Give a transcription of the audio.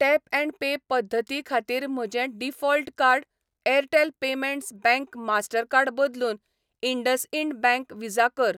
Tap and pay पद्दती खातीर म्हजें default card Airtel payments bank master card बदलून इंडसइंड बँक व्हिसा कर.